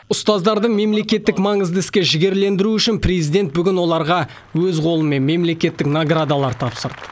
ұстаздарды мемлекеттік маңызды іске жігерлендіру үшін президент бүгін оларға өз қолымен мемлекеттік наградалар тапсырды